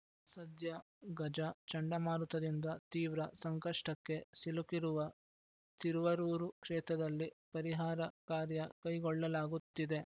ಸದ್ಯ ಗಜ ಚಂಡಮಾರುತದಿಂದ ತೀವ್ರ ಸಂಕಷ್ಟಕ್ಕೆ ಸಿಲುಕಿರುವ ತಿರುವರೂರು ಕ್ಷೇತ್ರದಲ್ಲಿ ಪರಿಹಾರ ಕಾರ್ಯ ಕೈಗೊಳ್ಳಲಾಗುತ್ತಿದೆ